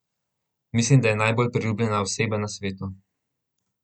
Mislim, da je najbolj nepriljubljena oseba na svetu.